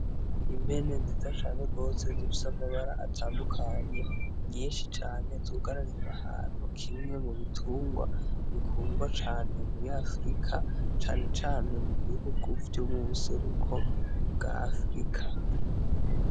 Impene nziza cane gose zifise amabara atandukanye, nyinshi cane zugaraniye ahantu, kimwe mubitungwa bikundwa cane muri afirika cane cane mubihugu vyo mubuseruko bwa afirika.